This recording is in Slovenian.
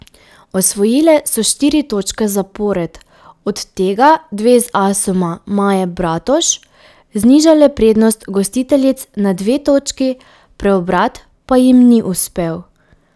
Osvojile so štiri točke zapored, od tega dve z asoma Maje Bratož, znižale prednost gostiteljic na dve točki, preobrat pa jim ni uspel.